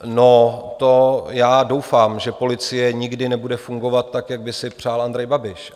No, to já doufám, že policie nikdy nebude fungovat, tak, jak by si přál Andrej Babiš.